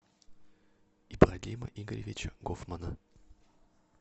ибрагима игоревича гофмана